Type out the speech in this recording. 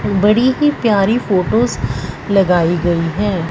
बड़ी ही प्यारी फोटोस लगाई गई है।